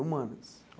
Humanas?